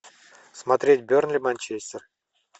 смотреть бернли манчестер